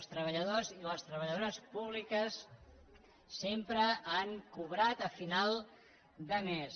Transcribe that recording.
els treballadors i les treballadores públiques sempre han cobrat a final de mes